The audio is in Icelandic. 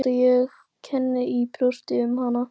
Stúlkan á bágt og ég kenni í brjósti um hana.